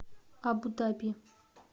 абу даби